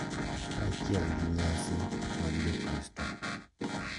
Kaachiel gi nyasi mag Jokristo, .